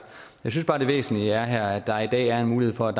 jeg synes bare at det væsentlige her er at der i dag er en mulighed for at